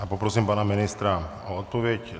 A poprosím pana ministra o odpověď.